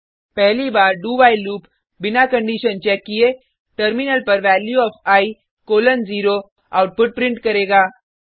पहली बार do while loop बिना कंडिशन चेक किये टर्मिनल पर value of I colon 0 output print करेगा